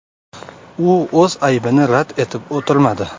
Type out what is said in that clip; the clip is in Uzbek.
U o‘z aybini rad etib o‘tirmadi.